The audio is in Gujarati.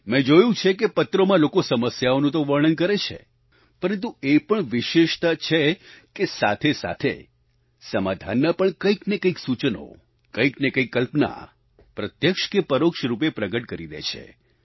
મેં જોયું છે કે પત્રોમાં લોકો સમસ્યાઓનું તો વર્ણન કરે છે પરંતુ એ પણ વિશેષતા છે કે સાથે સાથે સમાધાનના પણ કંઈકને કંઈક સૂચનો કંઈકને કંઈક કલ્પના પ્રત્યક્ષ કે પરોક્ષ રૂપે પ્રગટ કરી દે છે